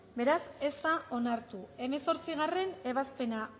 beraz ez da onartu hemezortzigarrena ebazpena